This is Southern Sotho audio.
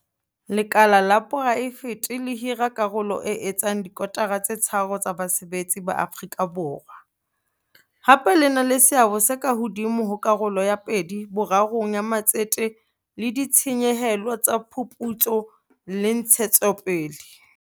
Lekala la poraefete le hira karolo e etsang dikotara tse tharo tsa basebetsi ba Afrika Borwa, hape le na le seabo se ka hodimo ho karolo ya pedi-borarong ya matsete le ditshenyehelo tsa diphuputso le ntshetsopele.